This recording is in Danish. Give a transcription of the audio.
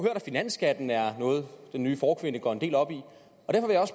at finansskatten er noget den nye forkvinde går en del op i